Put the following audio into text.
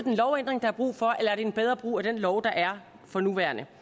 en lovændring der er brug for eller er en bedre brug af den lov der er for nuværende